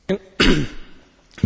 Panie Przewodniczący!